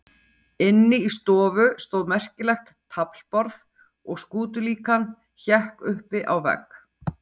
Inni í stofu stóð merkilegt taflborð og skútulíkan hékk uppi á vegg.